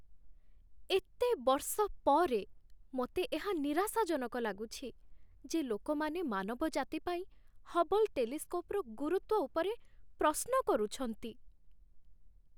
ଏତେ ବର୍ଷ ପରେ, ମୋତେ ଏହା ନିରାଶାଜନକ ଲାଗୁଛି ଯେ ଲୋକମାନେ ମାନବଜାତି ପାଇଁ ହବଲ୍ ଟେଲିସ୍କୋପ୍‌ର ଗୁରୁତ୍ୱ ଉପରେ ପ୍ରଶ୍ନ କରୁଛନ୍ତି।